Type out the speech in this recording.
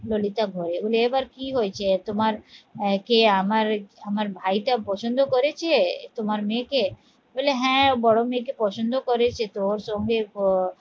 ললিতা ভরে এ এবার কি হয়েছে তোমার কে আমার আমার ভাইটা পছন্দ করেছে তোমার মেয়েকে? বলে হ্যাঁ বড় মেয়েকে পছন্দ করে সে তো ওর সঙ্গে আহ